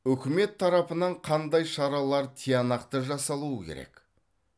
үкімет тарапынан қандай шаралар тиянақты жасалуы керек